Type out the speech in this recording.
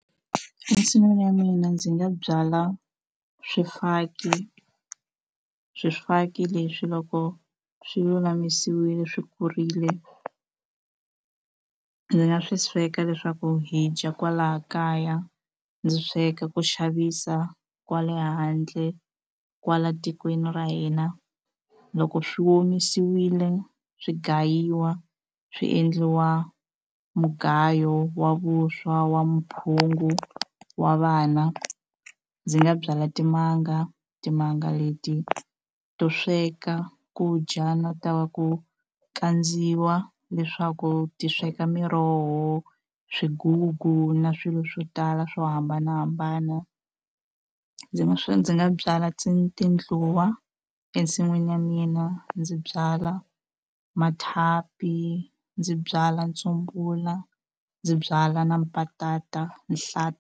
Ensin'wini ya mina ndzi nga byala swifaki swifaki leswi loko swi lulamisiwile swi kurile ndzi nga swi sweka leswaku hi dya kwala kaya ndzi sweka ku xavisa kwale handle kwala tikweni ra hina loko swi omisiwile swi gayiwa swi endliwa mugayo wa vuswa wa mphungu wa vana ndzi nga byala timanga timanga leti to sweka ku dya na ta ku kandziwa leswaku ti sweka miroho swigugu na swilo swo tala swo hambanahambana ndzi nga swi ndzi nga byala ti tindluwa ensin'wini ya mina ndzi byala mathapi ndzi byala ntsumbula ndzi byala na mpatata .